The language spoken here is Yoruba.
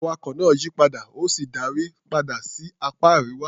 Awakọ̀ náà yí padà, ó sì darí padà sí apá Àríwá.